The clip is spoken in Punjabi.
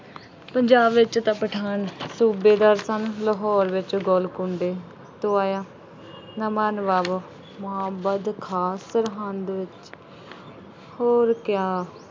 ਪੰਜਾਬ ਵਿੱਚ ਤਾਂ ਪਠਾਨ ਸੂਬੇਦਾਰ ਸਨ। ਲਾਹੌਰ ਵਿੱਚ ਗੋਲਕੁੰਡੇ ਤੋਂ ਆਇਆ ਨਵਾਂ ਨਵਾਬ ਮੁਹੰਮਦ ਖਾਨ ਸਰਹੰਦ ਹੋਰ ਕਯਾ